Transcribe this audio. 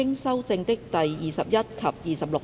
經修正的第21及26條。